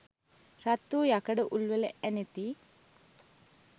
රත් වූ යකඩ උල්වල ඇනෙති.